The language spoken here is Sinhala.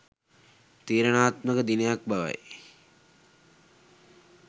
තීරණාත්මක දිනයක් බවයි.